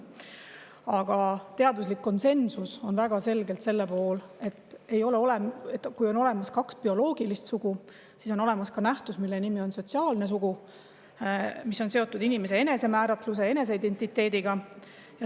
Aga teaduslik konsensus on väga selgelt sellel pool, et on olemas kaks bioloogilist sugu ja on olemas ka nähtus, mille nimetus on sotsiaalne sugu ja mis on seotud inimese enesemääratluse ja eneseidentiteediga.